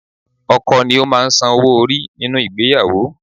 Ọkọ ni ó máa ń san owó orí nínú ìgbéyàwó